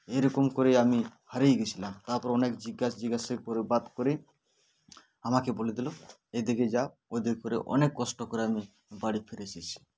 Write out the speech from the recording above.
এরকম করে আমি হারিয়ে গেছিলাম তারপর অনেক জিগেস জিজ্ঞাসা করে বাত করে আমাকে বলে দিল এদিকে যাও ওদিক করে অনেক কষ্ট করে আমি বাড়ি ফিরে এসেছি